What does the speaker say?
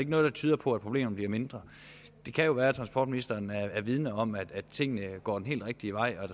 noget der tyder på at problemerne bliver mindre det kan jo være at transportministeren er vidende om at tingene går den helt rigtige vej og at